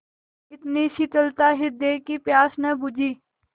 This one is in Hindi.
इतनी शीतलता हृदय की प्यास न बुझी